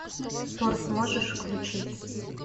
торт можешь включить